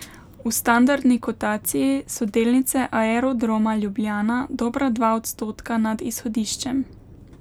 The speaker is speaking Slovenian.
V standardni kotaciji so delnice Aerodroma Ljubljana dobra dva odstotka nad izhodiščem.